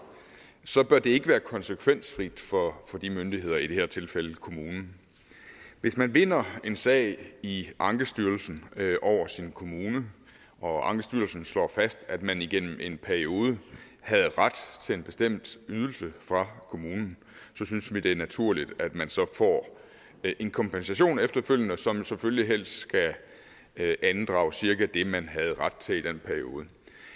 bør det ikke være konsekvensfrit for de myndigheder og i det her tilfælde kommunen hvis man vinder en sag i ankestyrelsen over sin kommune og ankestyrelsen slår fast at man igennem en periode havde ret til en bestemt ydelse fra kommunen synes vi det er naturligt at man så får en kompensation efterfølgende som selvfølgelig helst skal andrage cirka det man havde ret til i den periode